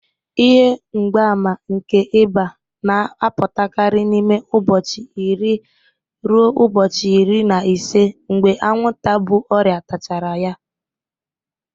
Ihe mgbaàmà nke ịba na-apụtakarị n'ime ụbọchị iri ruo ubochi iri na ise mgbe anwụnta bu ọrịa tachara ya.